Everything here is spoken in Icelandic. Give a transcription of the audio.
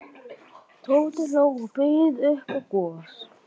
Tóti hló og bauð upp á gos.